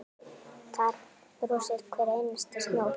Þar brosir hver einasta snót.